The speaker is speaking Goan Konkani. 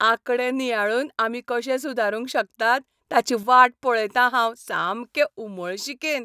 आंकडे नियाळून आमी कशे सुदारूंक शकतात ताची वाट पळयतां हांव सामकें उमळशिकेन.